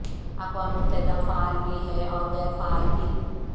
اقوام متحدہ فعال بھی ہے اور غیر فعال بھی